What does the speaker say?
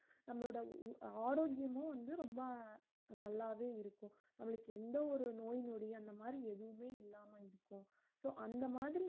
நம்மளோட உ~ ஆரோக்கியமும் வந்து ரொம்ப அஹ் நல்லாவே இருக்கும் நம்மளுக்கு எந்த ஒரு நோய் நொடி அந்த மாதிரி எதுவுமே இல்லாம இருக்கும் so அந்த மாதிரி